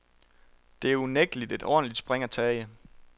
Det er unægtelig et ordentligt spring at tage.